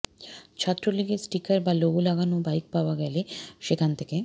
ছাত্রলীগের স্টিকার বা লোগো লাগানো বাইক পাওয়া গেলে সেখান থেকে